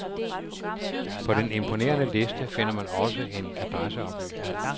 På den imponerende liste finder man også en adresseoplysning.